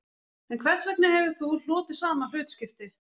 En hvers vegna hefur þú hlotið sama hlutskipti